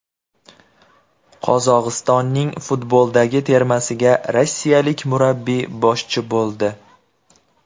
Qozog‘istonning futboldagi termasiga rossiyalik murabbiy boshchi bo‘ldi.